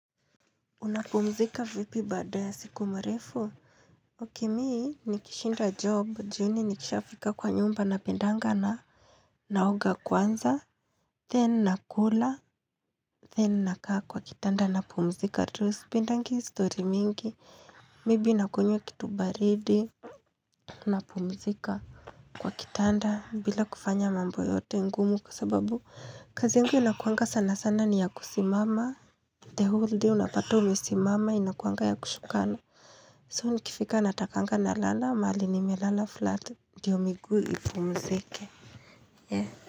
Unapumzika vipi baada ya siku mrefu Okey me nikishinda job jioni nikishafika kwa nyumba napendanga na naoga kwanza Then nakula then nakaa kwa kitanda napumzika tu sipendangi story mingi maybe nakunywa kitu baridi Unapumzika kwa kitanda bila kufanya mambo yote ngumu kwa sababu kazi yangu inakuanga sana sana ni ya kusimama the whole day unapata umesimama inakuanga ya kushuka na So nikifika natakanga na lala mahali nime lala flat ndio miguu ipu mzike.